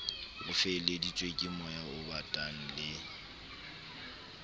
o feleheditsweng kemoya obatang le